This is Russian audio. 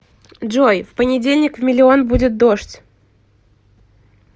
джой в понедельник в миллион будет дождь